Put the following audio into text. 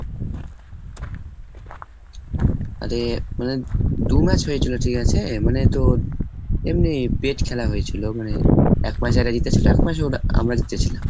আরে মানে দু match হয়েছিল, ঠিক আছে? মানে তো এমনি pet খেলা হয়েছিল মানে এক match এরা জিতেছিল, এক match ওরা আমরা জিতেছিলাম।